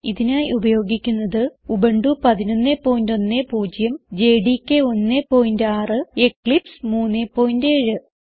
ഇതിനായി ഉപയോഗിക്കുന്നത് Ubuntu 1110 JDK 16 Eclipse 37